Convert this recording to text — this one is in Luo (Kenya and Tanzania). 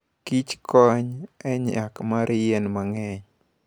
Kich kony e nyak mar yien mang'eny